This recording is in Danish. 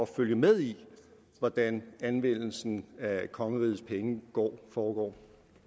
følge med i hvordan anvendelsen af kongerigets penge foregår